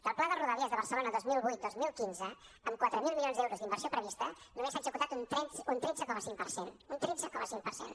del pla de rodalies de barcelona dos mil vuit dos mil quinze amb quatre mil milions d’euros d’inversió prevista només se n’ha executat un tretze coma cinc per cent un tretze coma cinc per cent